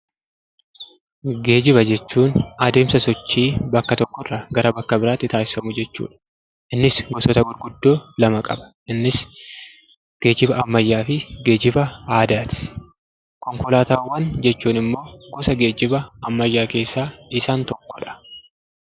Geejjiba jechuun adeemsa sochii bakka tokkoo gara bakka biraatti taasifamu jechuu dha. Innis gosoota gurguddoo lama qaba; isaannis: geejjiba ammayyaa fi geejjiba aadaa ti. Konkolaatawwan jechuun immo gosa geejjiba ammayyaa keessaa isaan tokkoo dha.